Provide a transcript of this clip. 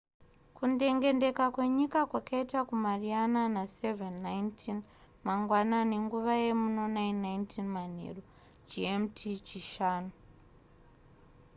kundengendeka kwenyika kwakaitika kumariana na07:19 mangwanani nguva yemuno 09:19 manheru. gmt chishanu